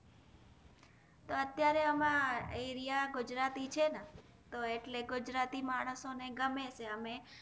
અત્યરે આમાં એરિયા ગુજરાતી છે ના તો એટલે ગુજરાતી માનશો ને ગમે છે અમે